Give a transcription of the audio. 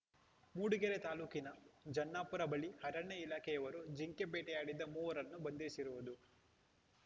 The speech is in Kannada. ಮೂಡಿಗೆರೆ ತಾಲೂಕಿನ ಜನ್ನಾಪುರ ಬಳಿ ಅರಣ್ಯ ಇಲಾಖೆಯವರು ಜಿಂಕೆ ಬೇಟೆಯಾಡಿದ್ದ ಮೂವರನ್ನು ಬಂಧಿಸಿರುವುದು